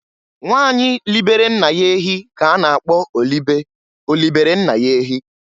Nwanyị libere nna ya ehi ka a na-akpọ olibe (Olibere nna ya ehi).